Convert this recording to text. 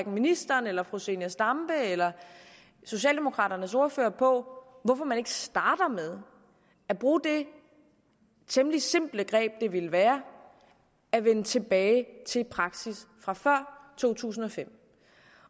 ministeren eller fru zenia stampe eller socialdemokraternes ordfører på hvorfor man ikke starter med at bruge det temmelig simple greb det ville være at vende tilbage til praksis fra før to tusind og fem